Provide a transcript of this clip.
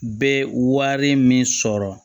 Bɛ wari min sɔrɔ